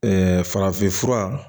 farafinfura